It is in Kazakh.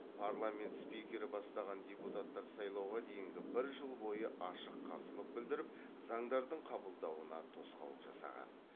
парламент спикері бастаған депутаттар сайлауға дейінгі бір жыл бойы ашық қарсылық білдіріп заңдардың қабылдауына тосқауыл жасаған